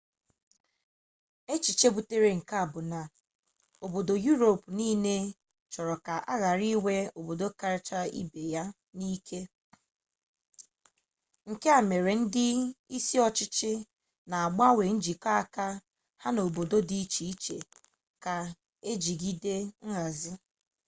echiche butere nke a bụ na obodo yuropu niile chọrọ ka a ghara inwe otu obodo kacha ibe ya ike nke a mere ndị isi ọchịchị na-agbanwe njikọ aka ha n'obodo dị iche iche ka ejigide nhazi